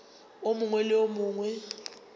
o mongwe le o mongwe